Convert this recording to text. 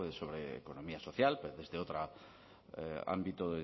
sobre economía social pero desde otro ámbito